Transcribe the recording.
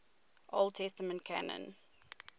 old testament canon